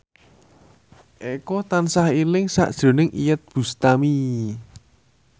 Eko tansah eling sakjroning Iyeth Bustami